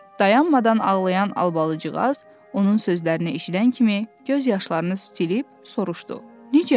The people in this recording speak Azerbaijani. Dayanmadan ağlayan Albalıcığaz onun sözlərini eşidən kimi göz yaşlarını silib soruşdu: "Necə?